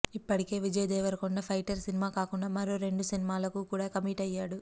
ఇప్పటికే విజయ్ దేవరకొండ ఫైటర్ సినిమా కాకుండా మరో రెండు సినిమాలకు కూడా కమిట్ అయ్యాడు